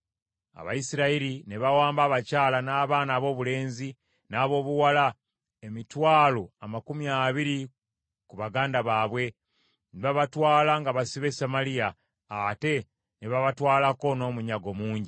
Abayisirayiri ne bawamba abakyala, n’abaana aboobulenzi, n’aboobuwala, emitwalo amakumi abiri ku baganda baabwe, ne babatwala nga basibe e Samaliya, ate ne babatwalako n’omunyago mungi.